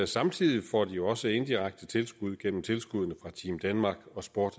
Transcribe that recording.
samtidig får de jo også indirekte tilskud gennem tilskuddene fra team danmark og sport